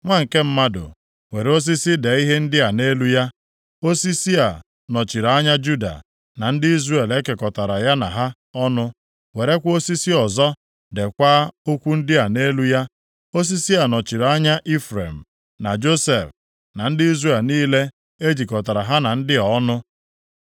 “Nwa nke mmadụ, were osisi dee ihe ndị a nʼelu ya, ‘Osisi a nọchiri anya Juda na ndị Izrel e kekọtara ya na ha ọnụ.’ Werekwa osisi ọzọ deekwa okwu ndị a nʼelu ya. ‘Osisi a nọchiri anya Ifrem, na Josef, na ndị Izrel niile e jikọtara ha na ndị a ọnụ.’